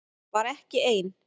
Var ekki ein